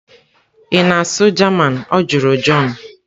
"Ị na-asụ German? Ọ jụrụ john"